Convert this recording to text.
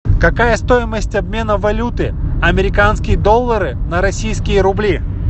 какая стоимость обмена валюты американские доллары на российские рубли